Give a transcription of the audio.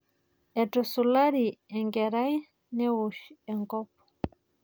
Etusulari enkerai newosh enkop.